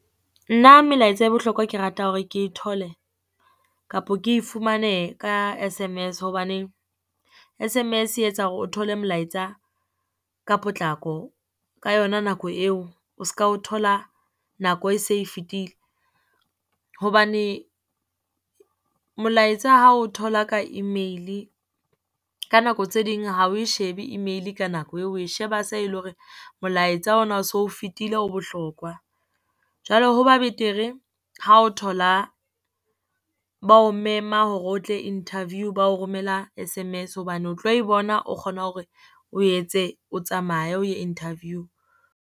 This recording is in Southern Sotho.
Nna melaetsa e bohlokwa ke rata hore ke e thole, kapo ke e fumane ka S_M_S. Hobaneng S_M_S e etsa hore o thole melaetsa ka potlako ka yona nako eo, o ska o thola nako e se e fetile. Hobane molaetsa ha o thola ka email-e, ka nako tse ding ha oe shebe email-e ka nako eo, oe sheba se e le hore molaetsa ona o so fetile o bohlokwa. Jwale ho ba betere ha o thola, ba o mema hore o tle interview ba o romela S_M_S, hobane o tlo e bona o kgona hore o etse o tsamaye o ye Interview.